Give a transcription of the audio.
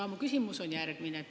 Mu küsimus on järgmine.